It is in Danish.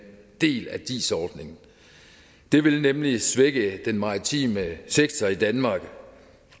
del af dis ordningen det ville nemlig svække den maritime sektor i danmark